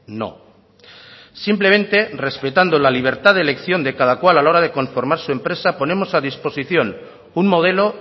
no simplemente respetando la libertad de elección de cada cual a la hora de conformar su empresa ponemos a disposición un modelo